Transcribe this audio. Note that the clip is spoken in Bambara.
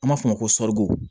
An b'a fɔ o ma ko